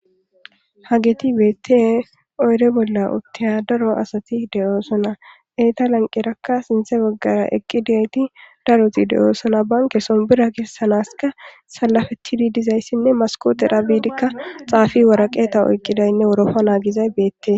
hageti beette oyre bolla uttiya daro asati de7oosona eyta lanqerakka sinthe baggara eqqi diyayti daroti de7oosona banke sonbira gessanaska salafetidi dizayssinne maskotera biidikka xaafi waraqeeta oyqidaynne wuroofa naagizay beettee